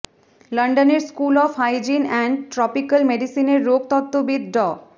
লন্ডনের school of hygiene and tropical মেডিসিনের রোগতত্ত্ববিদ ড